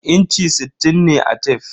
Inchi sittin ne a tef.